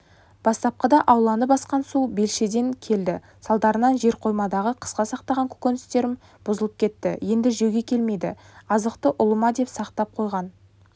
бастапқыда ауланы басқан су белшеден келді салдарынан жерқоймамдағы қысқа сақтаған көкөністерім бұзылып кетті енді жеуге келмейді азықты ұлыма деп сақтап қойған